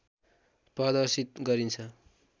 प्रदर्शित गरिन्छ